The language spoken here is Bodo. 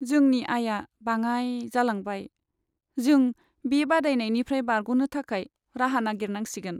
जोंनि आयआ बाङाइ जालांबाय। जों बे बादायनायनिफ्राय बारग'नो थाखाय राहा नायगिरनांसिगोन।